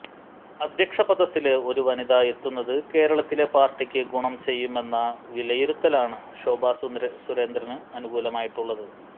അധ്യക്ഷ പദത്തില് ഒരു വനിത എത്തുന്നത് കേരളത്തിലെ പാര്ട്ടിക്ക് ഗുണം ചെയ്യുമെന്ന വിലയിരുത്തലാണ് ശോഭാ സുരേന്ദ്രന് അനുകൂലമായിട്ടുള്ളത്